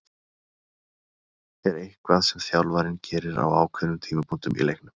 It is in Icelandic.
Er eitthvað sem þjálfarinn gerir á ákveðnum tímapunktum í leiknum?